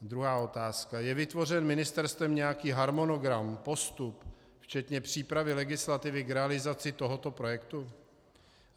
Druhá otázka: Je vytvořen ministerstvem nějaký harmonogram, postup, včetně přípravy legislativy k realizaci tohoto projektu?